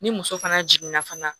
Ni muso fana jiginna fana